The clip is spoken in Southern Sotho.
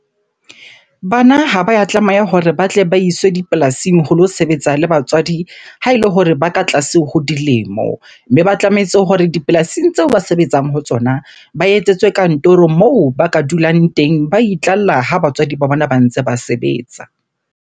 Bana ha ba ya tlameha hore ba tle ba iswe dipolasing ho lo sebetsa le batswadi ha ele hore ba ka tlase ho dilemo. Mme ba tlametse hore dipolasing tseo ba sebetsang ho tsona, ba etsetswe kantoro moo ba ka dulang teng, ba idlalla ha batswadi ba bona ba ntse ba sebetsa.